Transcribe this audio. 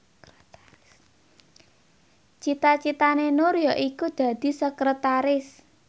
cita citane Nur yaiku dadi sekretaris